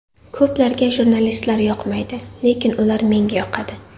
Ko‘plarga jurnalistlar yoqmaydi, lekin ular menga yoqadi.